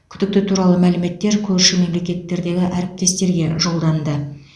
күдікті туралы мәліметтер көрші мемлекеттердегі әріптестерге жолданды